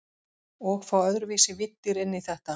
Og fá öðruvísi víddir inn í þetta.